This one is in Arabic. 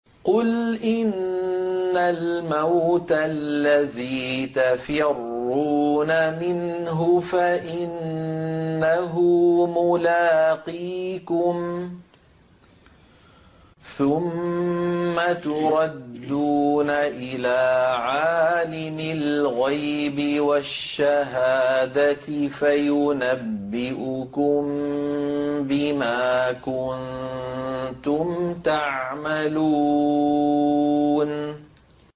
قُلْ إِنَّ الْمَوْتَ الَّذِي تَفِرُّونَ مِنْهُ فَإِنَّهُ مُلَاقِيكُمْ ۖ ثُمَّ تُرَدُّونَ إِلَىٰ عَالِمِ الْغَيْبِ وَالشَّهَادَةِ فَيُنَبِّئُكُم بِمَا كُنتُمْ تَعْمَلُونَ